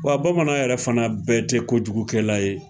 Wa bamanan yɛrɛ fana bɛɛ tɛ kojugukɛla ye